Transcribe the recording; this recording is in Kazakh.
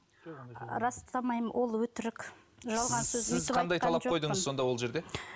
растамаймын ол өтірік жалған сонда ол жерде